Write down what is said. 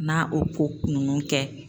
N'a o ko nunnu kɛ